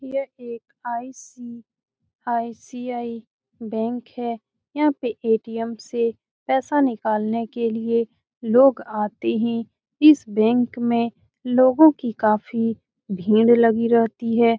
यह एक ICICI. Bank है यहां पे ए.टी.एम. से पैसा निकालने के लिए लोग आते है इस बैंक में लोगो की काफी भीड़ लगी रहती है।